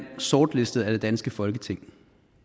sortlistet af det danske folketing